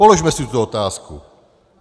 Položme si tuto otázku.